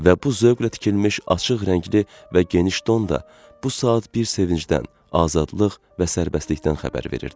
Və bu zövqlə tikilmiş, açıq rəngli və geniş don da bu saat bir sevincdən, azadlıq və sərbəstlikdən xəbər verirdi.